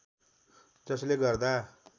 जसले गर्दा